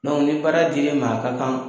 ni baara dir'e ma a ka kan